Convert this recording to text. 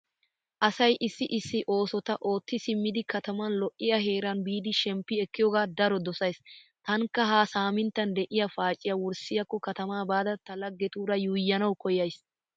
Asay issi issi oosota ootti simmidi kataman lo'iya heeran biidi shemppi ekkiyoga daro dosays. Taanikka ha saaminttan de'iya paaciya wurssiyaakko katama baada ta laggetuura yuuyyanawu koyyays.